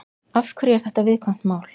Af hverju er þetta viðkvæmt mál?